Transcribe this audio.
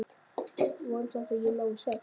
Vona samt að ég nái sex.